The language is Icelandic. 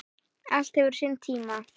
Allt hefur sinn tíma